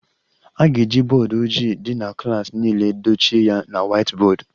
A ga-eji bọọdụ ojii dị na klas niile dochie ya na whiteboard